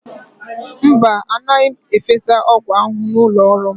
Mba, anaghị m efesa ọgwụ ahụhụ n'ụlọ ọrụ m.